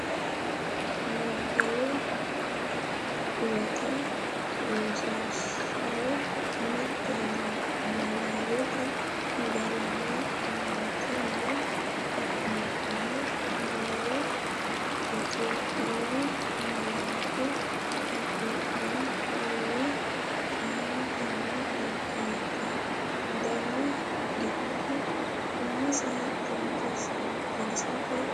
Nabbawe Huwata Rosiishsha Mite Niwaawete garinni aante noo xa’mubbara dawaro Itophiyu malaatu afiin qoli, Aante noo xaggate dani giddo umisi xagisate ogeessinni qixxaawe?